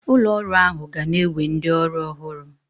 Ụlọ ọrụ ahụ ga na-ewe ndị ọrụ ọhụrụ